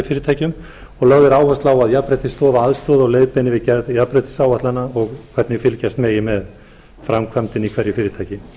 fyrirtækjum og lögð er áhersla á að jafnréttisstofa aðstoði og leiðbeini við gerð jafnréttisáætlana og hvernig fylgjast megi með framkvæmdinni í hverju fyrirtæki